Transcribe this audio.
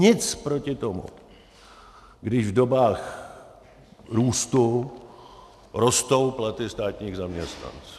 Nic proti tomu, když v dobách růstu rostou platy státních zaměstnanců.